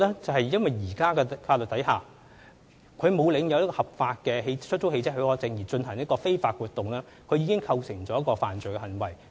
在現行法例下，車主沒有領有合法的出租汽車許可證而進行非法活動，已構成犯罪行為。